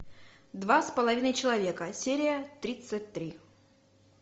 два с половиной человека серия тридцать три